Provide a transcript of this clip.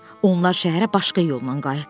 Onlar şəhərə başqa yolla qayıtdılar.